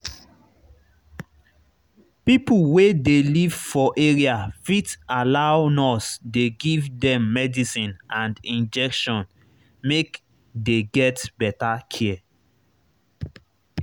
pipo wey dey live for area fit allow nurse dey give dem medicine and injection make dey get better care